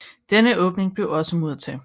Denne åbning blev også muret til